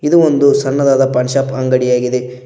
ಇದು ಒಂದು ಸಣ್ಣದಾದ ಪಾನ್ ಶಾಪ್ ಅಂಗಡಿಯಾಗಿದೆ.